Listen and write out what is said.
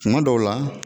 Kuma dɔw la